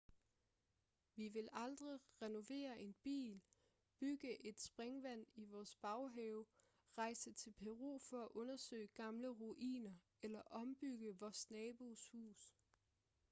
vi vil aldrig renovere en bil bygge et springvand i vores baghave rejse til peru for at undersøge gamle ruiner eller ombygge vores nabos hus